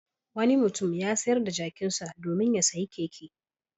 Wani mutum ya sayar da jakinsa domin ya sayi keke.